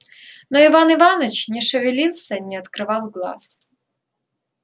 но иван иваныч не шевелился и не открывал глаз